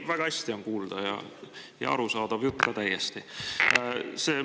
Ei, väga hästi on kuulda ja jutt on ka täiesti arusaadav.